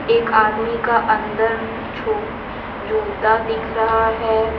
एक आदमी का अन्दर जूता दिख रहा है।